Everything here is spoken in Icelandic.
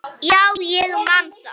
Já, ég man það.